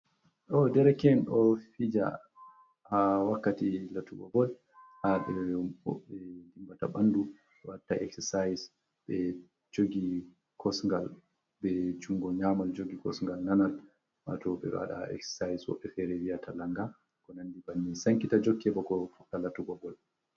Ɗo dereken ɗo fija ha wakkati latugo bol ha ɓe dimbata bandu watta exercise ɓe jogi kosgal be jungo nyamal jogi kosgal nanal wato ɓeɗo wada exercise woɓɓe fere viyata langa ko nandi bannin sankita jokke bako fuɗɗa latugo bol.